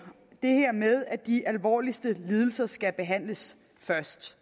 det her med at de alvorligste lidelser skal behandles først